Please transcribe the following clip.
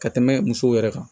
Ka tɛmɛ musow yɛrɛ kan